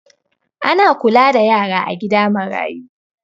Ana kula da yara a gida marayu